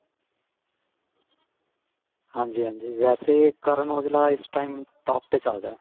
ਹਾਂਜੀ ਹਾਂਜੀ ਵੇਸੇ Karan aujla ਇਸ time top ਤੇ ਚੱਲ ਰਿਹਾ